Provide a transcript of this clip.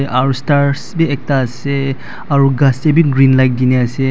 aru stars bi ektaase aro ghas tae bi green light dine ase--